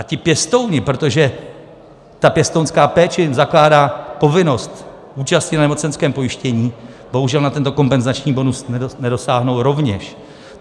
A ti pěstouni, protože ta pěstounská péče jim zakládá povinnost účasti na nemocenském pojištěni, bohužel na tento kompenzační bonus nedosáhnou rovněž.